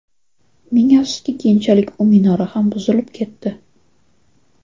Ming afsuski, keyinchalik bu minora ham buzilib ketdi.